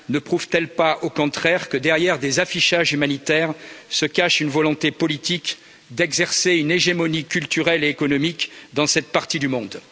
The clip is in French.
Ne prouvent t elles pas au contraire que, derrière des affichages humanitaires, se cache une volonté politique d'exercer une hégémonie culturelle et économique dans cette partie du monde